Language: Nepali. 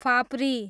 फाप्री